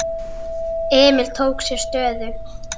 Emil tók sér stöðu.